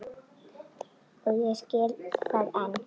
Og ég skil það enn.